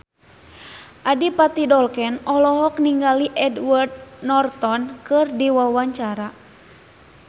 Adipati Dolken olohok ningali Edward Norton keur diwawancara